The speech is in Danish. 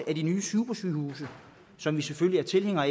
de nye supersygehuse som vi selvfølgelig er tilhængere